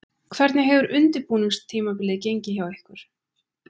Hvernig hefur undirbúningstímabilið gengið hjá ykkur?